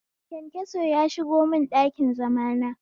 Kyankyaso ya shigo mun ɗakin zamana